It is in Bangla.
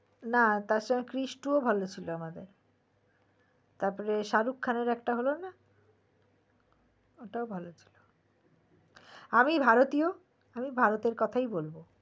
না তাছাড়া ক্রিস টুঁও ভালো ছিল আমাদের তারপরে শাহরুক খানের একটা হলোনা ওটাও ভালোছিল আমি ভারতীয় আমি ভারতের কথাই বলবো